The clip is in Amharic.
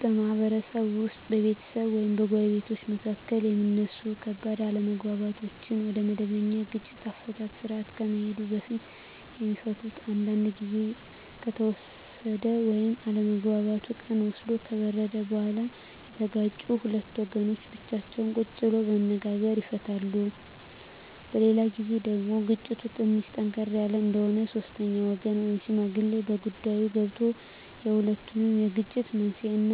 በማህበረሰብ ውስጥ በቤተሰብ ወይም በጎረቤቶች መካከል የሚነሱ ከባድ አለመግባባቶች ወደመበኛ የግጭት አፈታት ስርአት ከመሄዱ በፊት የሚፈቱት አንዳንዱ ግዜ ከተወሰደ ወይም አለመግባባቱ ቀን ወስዶ ከበረደ በኋላ የተጋጩት ሁለት ወገኖች ብቻቸውን ቁጭ ብለው በመነጋገር ይፈቱታል። በሌላ ግዜ ደግሞ ግጭቱ ትንሽ ጠንከር ያለ እንደሆነ ሶስተኛ ወገን ወይም ሽማግሌ በጉዳይዮ ገብቶበት የሁለቱንም የግጭት መንሴና